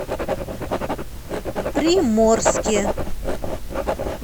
приморске